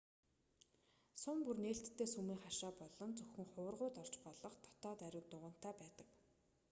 сүм бүр нээлттэй сүмийн хашаа болон зөвхөн хуврагууд орж болох дотоод ариун дугантай байдаг